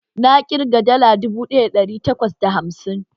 Na ƙirga dala dubu ɗaya da ɗari takwas da hamsin